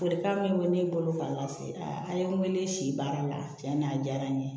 Folikan min bɛ ne bolo ka lase a an ye n wele si baara la tiɲɛ na a diyara n ye